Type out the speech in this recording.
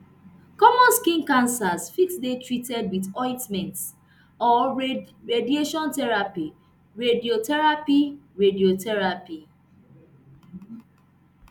common skin cancers fit dey treated wit ointments or radiation therapy radiotherapy radiotherapy